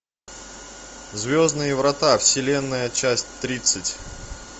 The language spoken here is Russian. звездные врата вселенная часть тридцать